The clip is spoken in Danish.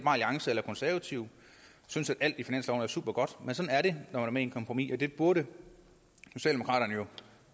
alliance eller konservative synes at alt i finansloven er supergodt men sådan er det når man kompromis det burde socialdemokraterne jo